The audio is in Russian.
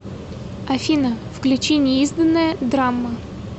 афина включи неизданное драмма